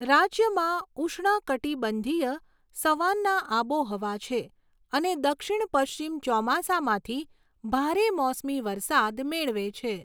રાજ્યમાં ઉષ્ણકટિબંધીય સવાન્ના આબોહવા છે અને દક્ષિણ પશ્ચિમ ચોમાસામાંથી ભારે મોસમી વરસાદ મેળવે છે.